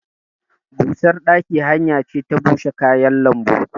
Busar ɗaki hanya ce ta bushe kayan lambu.